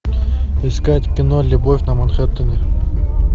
искать кино любовь на манхэттене